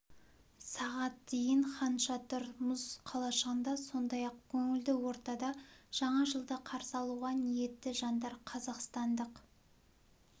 сағат дейін хан шатыр мұз қалашығында сондай-ақ көңілді ортада жаңа жылды қарсы алуға ниетті жандар қазақстандық